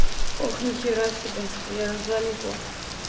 ох нехера себе я аж залипла